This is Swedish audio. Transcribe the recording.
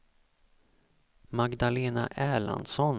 Magdalena Erlandsson